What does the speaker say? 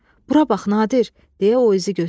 Bura bax Nadir, deyə o izi göstərdi.